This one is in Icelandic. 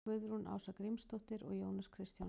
Guðrún Ása Grímsdóttir og Jónas Kristjánsson.